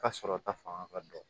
Ka sɔrɔ ta fanga ka dɔgɔ